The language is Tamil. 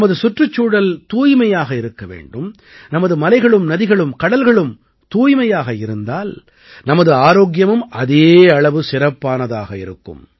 நமது சுற்றுச்சூழல் தூய்மையாக இருக்க வேண்டும் நமது மலைகளும் நதிகளும் கடல்களும் தூய்மையாக இருந்தால் நமது ஆரோக்கியமும் அதே அளவு சிறப்பானதாக இருக்கும்